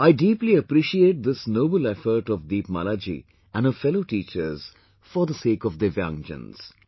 I deeply appreciate this noble effort of Deepmala ji and her fellow teachers for the sake of Divyangjans